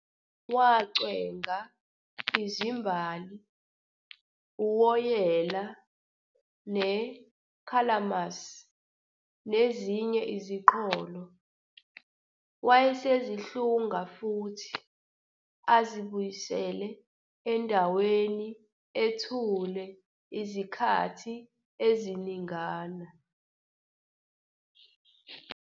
Wacwenga izimbali, uwoyela, ne-calamus nezinye iziqholo, wayesezihlunga futhi azibuyisele endaweni ethule izikhathi eziningana.